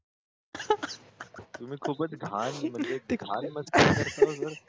तुम्ही खूपच घाण म्हणजे घाण मस्करी करता ओ सर